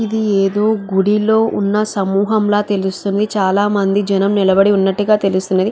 ఇది ఏదో గుడి లో ఉన్న సమూహంలా తెలుస్తుంది. చాల మంది జనము నిలబడి ఉన్నట్టుగా తెలుస్తుంది.